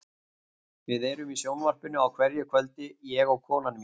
Við erum í sjónvarpinu á hverju kvöldi, ég og konan mín.